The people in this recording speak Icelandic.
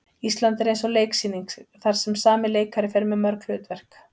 Ísland er eins og leiksýning þar sem sami leikari fer með mörg hlutverk.